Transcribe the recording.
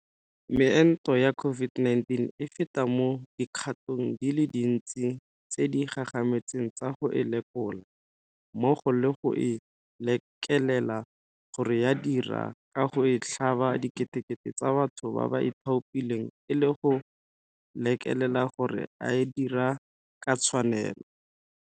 Meento ya COVID-19 e feta mo dikgatong di le dintsi tse di gagametseng tsa go e lekola, mmogo le go e lekelela gore ya dira ka go e tlhaba diketekete tsa batho ba ba ithaopileng e le go lekelela gore a e dira ka tshwanelo.